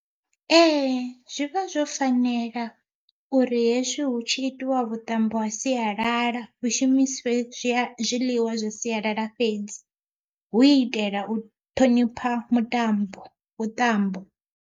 Ee zwi vha zwo fanela uri hezwi hu tshi itiwa vhuṱambo ha sialala hu shumisiwe zwiḽiwa zwa sialala fhedzi, hu u itela u thonipha mutambo vhuṱambo.